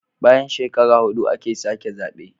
Bayan shekara hudu ake sake zabe